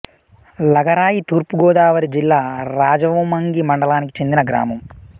లగరాయి తూర్పు గోదావరి జిల్లా రాజవొమ్మంగి మండలానికి చెందిన గ్రామం